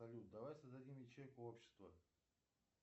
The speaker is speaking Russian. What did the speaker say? салют давай создадим ячейку общества